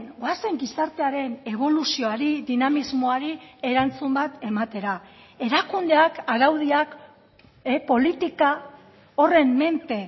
goazen gizartearen eboluzioari dinamismoari erantzun bat ematera erakundeak araudiak politika horren menpe